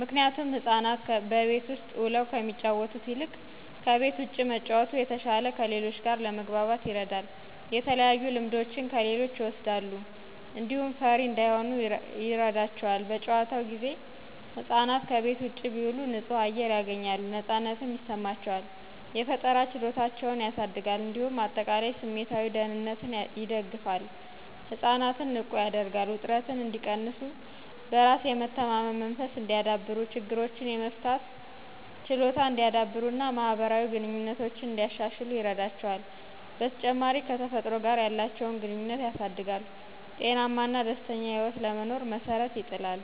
ምክንቱም ህፃናት በቤት ውስጥ ውለው ከሚጫወቱት ይልቅ ከቤት ውጭ መጫወቱ የተሸለ ከሌሎች ጋር ለመግባባት ይረዳል። የተለያዩ ልምዶችን ከሌሎች ይወሰዳሉ። እንዲሁም ፈሪ እንዳይሆኑ ይረዳቸዋል። በጨዋታው ጊዜ ህፃናት ከቤት ውጭ ቢውሉ ንፁህ አየር ያገኛሉ ነፃነትም ይሰማቸዋል። የፈጠራ ችሎታቸውን ያሳድጋል እንዲሁም አጠቃላይ ስሜታዊ ደህንነትን ይደግፋል። ህፃናትን ንቁ ያደርጋል፣ ውጥረትን እንዲቀንሱ፣ በራስ የመተማመን መንፈስ እንዲያዳብሩ፣ ችግሮችን የመፍታት ችሎታ እንዲያዳብሩና ማህበራዊ ግንኙነቶችን እንዲያሻሽሉ ይረዳቸዋል። በተጨማሪም ከተፈጥሮ ጋር ያለቸውን ግንኘነት ያሳድጋል፣ ጤናማና ደስተኛ ህይወት ለመኖር መሠረት ይጥላል።